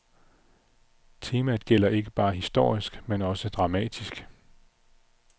Temaet gælder ikke bare historisk, men også dramatisk.